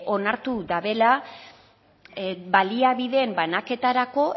onartu dabela baliabideen banaketarako